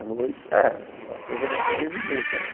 A noite, é, é a coisa da sobrevivência, né?